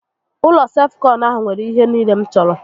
Ụlọ self kọnụ ahụ nwèrè ihe niile m chọrọ